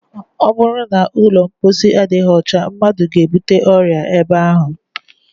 Ọ bụrụ na ụlọ mposi adịghị ọcha, mmadụ ga- ebute ọrịa ebe ahụ